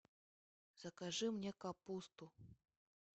закажи мне капусту